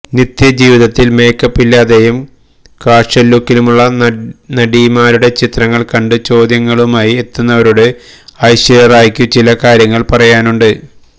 നിത്യജീവിതത്തില് makeup ഇല്ലാതെയും casual ലുക്കിലുള്ള നടിമാരുടെ ചിത്രങ്ങള് കണ്ട് ചോദ്യങ്ങളുമായി എത്തുന്നവരോട് ഐശ്വര്യ റായിക്കു ചില കാര്യങ്ങള് പറയാനുണ്ട്